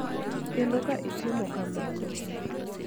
kendo ka itimo kamano,